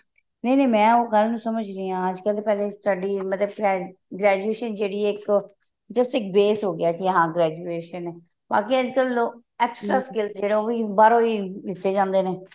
ਨਹੀਂ ਨਹੀਂ ਮੈਂ ਉਸ ਗੱਲ ਨੂੰ ਸਮਝ ਰਹੀ ਹਾਂ ਅੱਜਕਲ ਤੇ ਪਹਿਲੇ study ਮਤਲਬ graduation ਜਿਹੜੀ ਹੈ ਇੱਕ ਜੇਸੇ ਇੱਕ base ਹੋਗਿਆ ਕੀ ਹਾਂ graduation ਬਾਕੀ ਅੱਜਕਲ ਲੋਕ extra skills ਉਹੀ ਬਾਹਰੋਂ ਹੀ ਲਿੱਟੇ ਜਾਂਦੇ ਨੇ